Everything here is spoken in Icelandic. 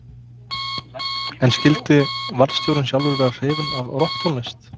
En skyldi varðstjórinn sjálfur vera hrifinn af rokktónlist?